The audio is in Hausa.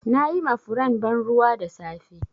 Na yi ma furen ban ruwa da safe.